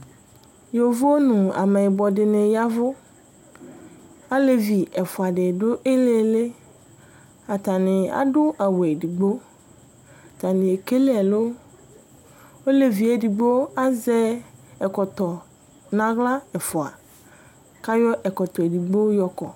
Yovo nu ameyibɔ dini ya ɛvu Alevi ɛfua di du iliili Atani adu awu edigbo atani ekele ɛlu Ɔlevi edigbo azɛ ɛkɔtɔ nu aɣla ɛfua ku ayɔ ɛkɔtɔ edigbo yɔ ɔkɔ